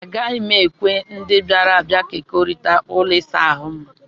Agaghị m ekwe ndị bịara abịa kekọrịta ụlọ ịsa ahụ m.